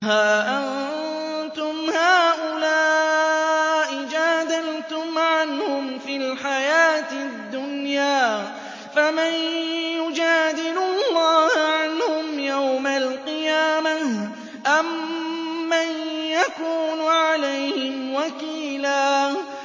هَا أَنتُمْ هَٰؤُلَاءِ جَادَلْتُمْ عَنْهُمْ فِي الْحَيَاةِ الدُّنْيَا فَمَن يُجَادِلُ اللَّهَ عَنْهُمْ يَوْمَ الْقِيَامَةِ أَم مَّن يَكُونُ عَلَيْهِمْ وَكِيلًا